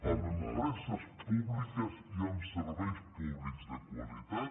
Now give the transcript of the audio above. amb empreses públiques i amb serveis públics de qualitat